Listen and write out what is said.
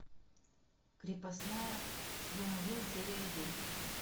крепостная сезон один серия один